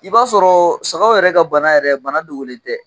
I b'a sɔrɔ sagaw yɛrɛ ka bana yɛrɛ bana dogolen tɛ.